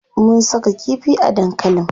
Mun saka kifi a dankalin.